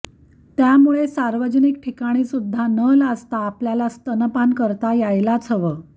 त्यामुळे सार्वजनिक ठिकाणीसुध्दा न लाजता आपल्याला स्तनपान करता यायलाच हवं